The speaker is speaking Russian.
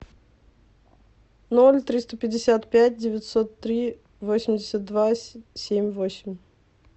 ноль триста пятьдесят пять девятьсот три восемьдесят два семь восемь